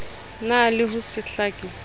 na le ho se hlake